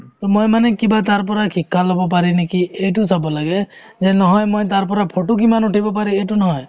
to মই মানে কিবা তাৰপৰা শিক্ষা ল'ব পাৰি নেকি এইটো চাব লাগে যে নহয় মই তাৰপৰা photo কিমান উঠিব পাৰি এইটো নহয়